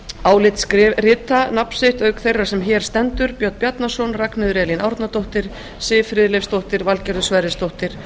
álit rita nafn sitt auk þeirra sem hér stendur björn bjarnason ragnheiður e árnadóttir siv friðleifsdóttir valgerður sverrisdóttir og